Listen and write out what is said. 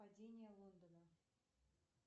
падение лондона